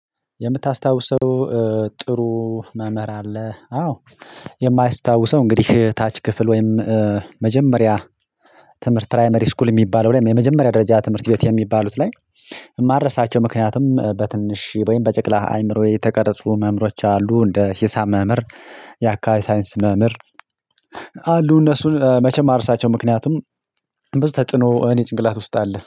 የምታስታውሰው ጥሩ መምህር አለ። አዎ የማይስታውሰው እንግዲህ ታች ክፍል ወይም እ መጀመሪያ ትምህርት ፕራይመሪ ስኩል የሚባለው ላይም የመጀመሪያ ደረጃ ትምህርት ቤት የሚባሉት ላይ። የማረሳቸው ምክንያቱም በትንሽ ወይም በጨቅላ አይምሮዬ የተቀረጹ መምሮች አሉ እንደ ሂሳብ መምር የአካባቢ ሳይንስ መምህር። አሉ እነሱን እ መቼም አርሳቸው ምክንያቱም ብዙ ተጽዕኖ እኔ ጭንቅላት ውስጥ አለ